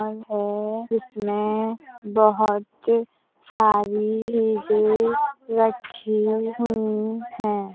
Mall है जिसमें बहुत सारी चीजें रखी हुयी हैं।